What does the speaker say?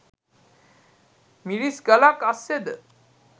මිරිස් ගලක් අස්සෙද